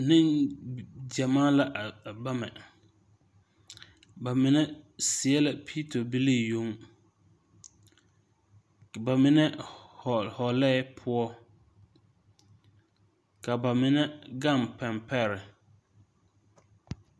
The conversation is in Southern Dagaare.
Neŋgyamaa la a bama ba mine seɛ la piito bilii yoŋ ka ba mine hɔɔle hɔlɛɛ poɔ ka ba mine gaŋ pɛŋpɛre.